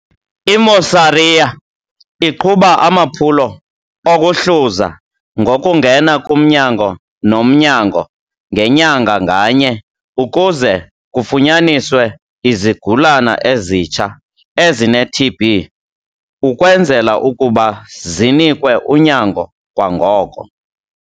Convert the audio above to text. I-Mosaria iqhuba amaphulo okuhluza ngokungena kumnyango nomnyango ngenyanga nganye ukuze kufunyaniswe izigulana ezitsha ezine-TB ukwenzela ukuba zinikwe unyango kwangoko.